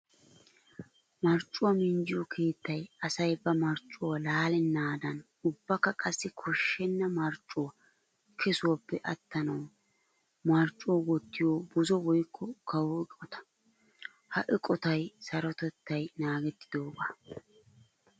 Marccuwa minjjiyo keettay asay ba marccuwa laalennadan ubbakka qassi koshenna marccuwa kesuwaappe atanawu marccuwa wottiyo buzo woykka kawo eqotta. Ha eqottay sarotettay naagetidooga.